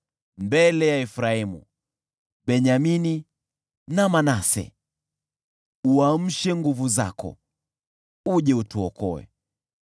mbele ya Efraimu, Benyamini na Manase. Uamshe nguvu zako, uje utuokoe.